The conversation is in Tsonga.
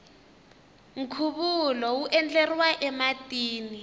nkhuvulo wu endleriwa ematini